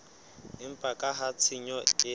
empa ka ha tshenyo ke